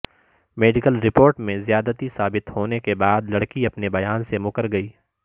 medical report میں زیادتی ثابت ہونے کے بعد لڑکی اپنے بیان سے مکر گئی